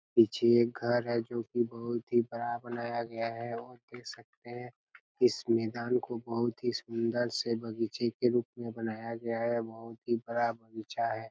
पीछे एक घर है जो की बहुत ही बड़ा बनाया गया है और देख सकते हैं इस मैदान को बहुत ही सुंदर से बगीचे के रूप मे बनाया गया है और बहुत ही बड़ा बगीचा है।